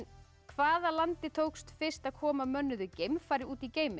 hvaða landi tókst fyrst að koma mönnuðu geimfari út í geiminn